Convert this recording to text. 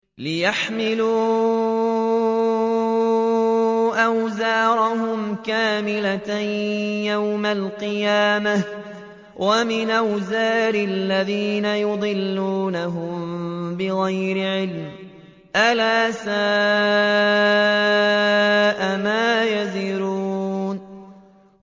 لِيَحْمِلُوا أَوْزَارَهُمْ كَامِلَةً يَوْمَ الْقِيَامَةِ ۙ وَمِنْ أَوْزَارِ الَّذِينَ يُضِلُّونَهُم بِغَيْرِ عِلْمٍ ۗ أَلَا سَاءَ مَا يَزِرُونَ